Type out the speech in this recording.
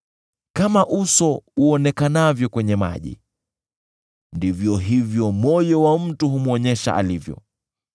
Kama uso uonekanavyo kwenye maji, ndivyo hivyo moyo wa mtu humwonyesha alivyo.